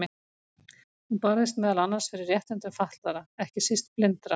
Hún barðist meðal annars fyrir réttindum fatlaðra, ekki síst blindra.